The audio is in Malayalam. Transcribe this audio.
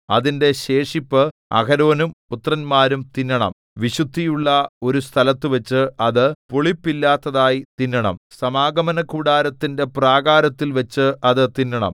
അതിന്റെ ശേഷിപ്പ് അഹരോനും പുത്രന്മാരും തിന്നണം വിശുദ്ധിയുള്ള ഒരു സ്ഥലത്തുവച്ച് അത് പുളിപ്പില്ലാത്തതായി തിന്നണം സമാഗമനകൂടാരത്തിന്റെ പ്രാകാരത്തിൽവച്ച് അത് തിന്നണം